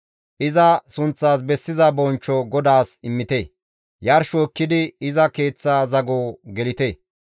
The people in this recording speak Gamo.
Iza sunththas bessiza bonchcho GODAAS immite; Yarsho ekkidi iza Keeththa zago gelite.